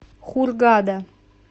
хургада